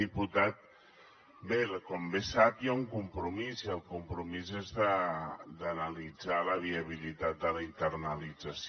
diputat bé com bé sap hi ha un compromís i el compromís és d’analitzar la viabilitat de la internalització